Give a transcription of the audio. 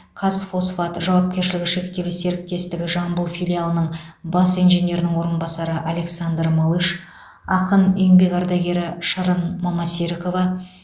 қазфосфат жауапкершілігі шектеулі серіктесігі жамбыл филиалының бас инженерінің орынбасары александр малыш ақын еңбек ардагері шырын мамасерікова